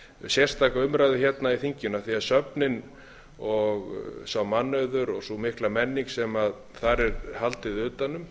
sérstaka umræðu hérna í þinginu af því söfnin og sá mannauður og sú mikla menning sem þar er haldið utan um